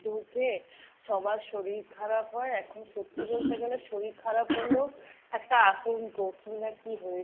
ঢুকে সবার শরীর খারাপ হয়। এখন সত্যি বলতে গেলে শরীর খারাপ হলেও একটা আতঙ্ক। কী না কী হয়েছে ?